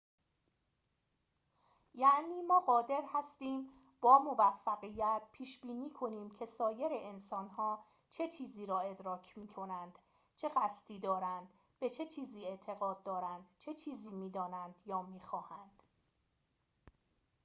یعنی ما قادر هستیم با موفقیت پیش‌بینی کنیم که سایر انسانها چه چیزی را ادراک می‌کنند چه قصدی دارند به چه چیزی اعتقاد دارند چه چیزی می‌دانند یا می‌خواهند